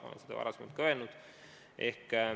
Olen seda ka varem öelnud.